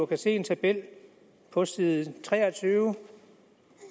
kan se en tabel på side tre og tyve